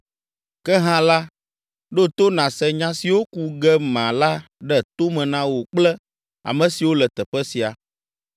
Ke hã la, ɖo to nàse nya siwo ku ge mala ɖe to me na wò kple ame siwo le teƒe sia.